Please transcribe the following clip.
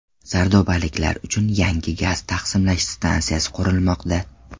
Sardobaliklar uchun yangi gaz taqsimlash stansiyasi qurilmoqda.